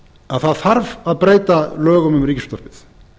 að það þarf að breyta lögum um ríkisútvarpið